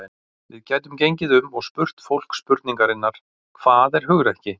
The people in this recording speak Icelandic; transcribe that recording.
Við gætum gengið um og spurt fólk spurningarinnar: Hvað er hugrekki?